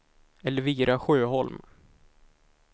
Elvira Sjöholm